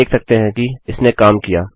हम देख सकते हैं कि इसने काम किया